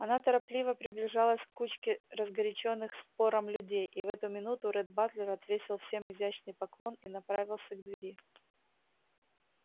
она торопливо приближалась к кучке разгорячённых спором людей и в эту минуту ретт батлер отвесил всем изящный поклон и направился к двери